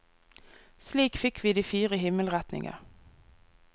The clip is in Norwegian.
Slik fikk vi de fire himmelretninger.